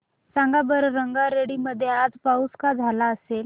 सांगा बरं रंगारेड्डी मध्ये आज पाऊस का झाला असेल